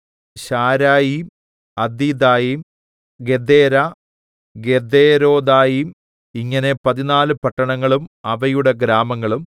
ശാരയീം അദീഥയീം ഗെദേരാ ഗെദെരോഥയീം ഇങ്ങനെ പതിനാല് പട്ടണങ്ങളും അവയുടെ ഗ്രാമങ്ങളും